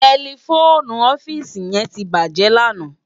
Tèlèfóni òfisi yèn tibájè làná